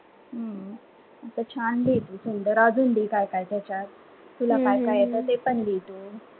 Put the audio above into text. हम्म छान लिह तू जरा अजून ली काय काय त्याच्यात तुला काय काय येत ते पण लिही तू